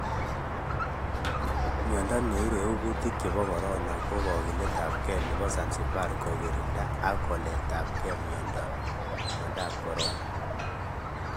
Miondo neiregu kuti chebo Corona ko kakiletabge nebo Zanzibar kokirinda ak koletageb miondop Corona